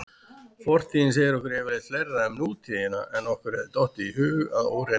Fortíðin segir okkur yfirleitt fleira um nútíðina en okkur hefði dottið í hug að óreyndu.